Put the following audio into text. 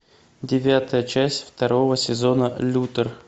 девятая часть второго сезона лютер